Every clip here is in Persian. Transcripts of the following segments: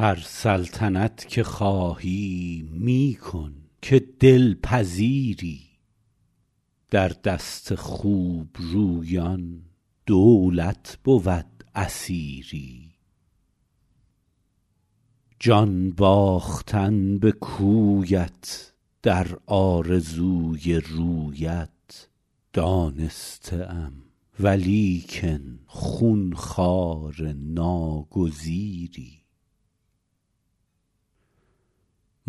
هر سلطنت که خواهی می کن که دل پذیری در دست خوب رویان دولت بود اسیری جان باختن به کویت در آرزوی رویت دانسته ام ولیکن خون خوار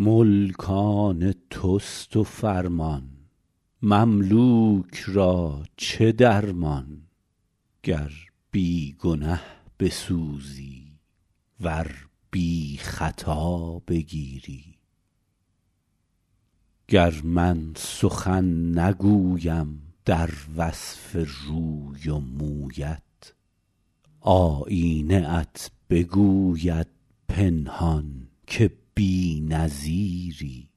ناگزیری ملک آن توست و فرمان مملوک را چه درمان گر بی گنه بسوزی ور بی خطا بگیری گر من سخن نگویم در وصف روی و مویت آیینه ات بگوید پنهان که بی نظیری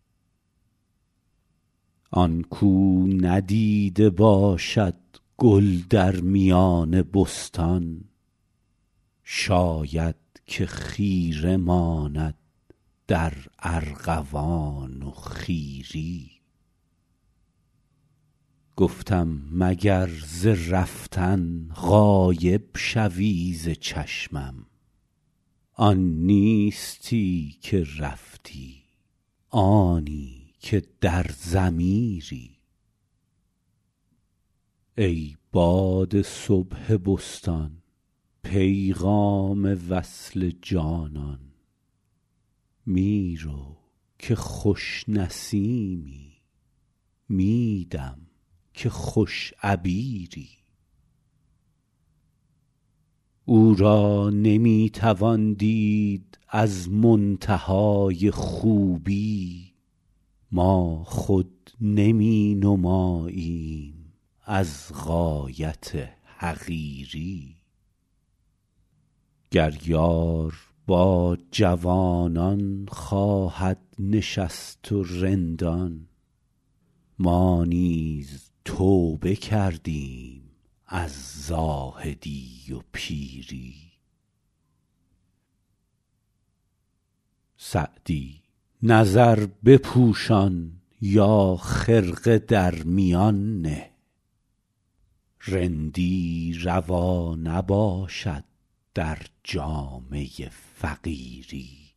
آن کاو ندیده باشد گل در میان بستان شاید که خیره ماند در ارغوان و خیری گفتم مگر ز رفتن غایب شوی ز چشمم آن نیستی که رفتی آنی که در ضمیری ای باد صبح بستان پیغام وصل جانان می رو که خوش نسیمی می دم که خوش عبیری او را نمی توان دید از منتهای خوبی ما خود نمی نماییم از غایت حقیری گر یار با جوانان خواهد نشست و رندان ما نیز توبه کردیم از زاهدی و پیری سعدی نظر بپوشان یا خرقه در میان نه رندی روا نباشد در جامه فقیری